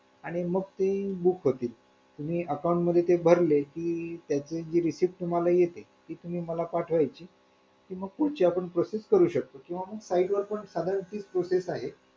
आणि आता बघ अजून कोणाकोणाचे loan करायचे .